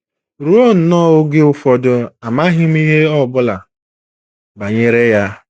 Ruo nnọọ oge ụfọdụ, amaghị m ihe ọ bụla banyere ya.